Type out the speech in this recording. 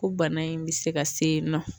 Ko bana in bɛ se ka se yen nɔ